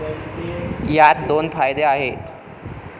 यात दोन फायदे आहेत.